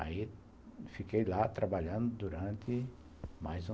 Aí, fiquei lá trabalhando durante mais uns...